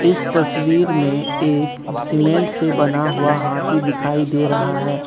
इस तस्वीर में एक सीमेंट से बना हुआ हाथी दिखाई दे रहा है।